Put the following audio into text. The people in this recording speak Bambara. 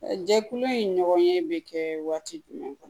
Jɛkulu in ɲɔgɔn ye bɛ kɛ waati jumɛn kɔnɔ